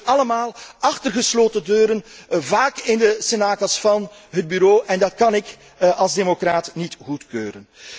Het gebeurt allemaal met gesloten deuren, vaak in de cenakels van het Bureau, en dat kan ik als democraat niet goedkeuren.